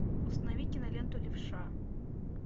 установи киноленту левша